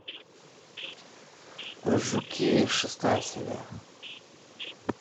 жуки шестая серия